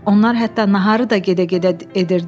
Onlar hətta naharı da gedə-gedə edirdilər.